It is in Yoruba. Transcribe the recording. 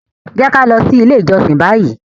Jẹ ki a lọ si ile ijọsin bayi!